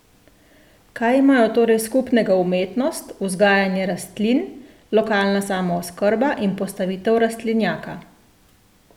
Kaj imajo torej skupnega umetnost, vzgajanje rastlin, lokalna samooskrba in postavitev rastlinjaka?